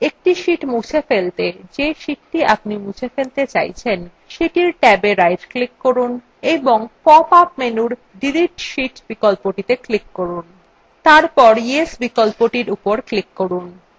একটি sheets মুছে ফেলতে যে sheets আপনি মুছে ফেলতে চাইছেন সেটির ট্যাবএ right click করুন এবং pop up menu delete sheet বিকল্পটিত়ে click করুন তারপর yes বিকল্পর উপর click করুন